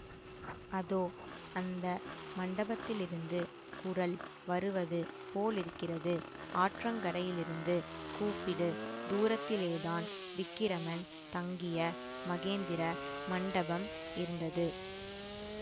அதோ அந்த மண்டபத்திலிருந்து குரல் வருவது போலிருக்கிறது ஆற்றங்கரையிலிருந்து கூப்பிடு தூரத்திலேதான் விக்கிரமன் தங்கிய மகேந்திர மண்டபம் இருந்தது